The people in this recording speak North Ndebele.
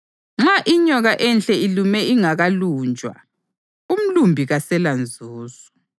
Nxa inyoka ihle ilume ingakalunjwa, umlumbi kaselanzuzo.